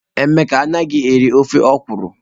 Emeka anaghị eri ofe okwụrụ.